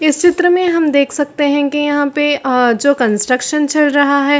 इस चित्र में हम देख सकते है की यहाँ पे अअ जो कंस्ट्रक्शन चल रहा है।